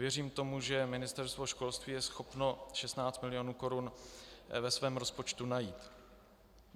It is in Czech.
Věřím tomu, že Ministerstvo školství je schopno 16 mil. korun ve svém rozpočtu najít.